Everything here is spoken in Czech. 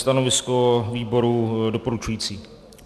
Stanovisko výboru - doporučující.